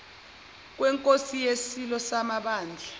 kwenkosi yisilo samabandla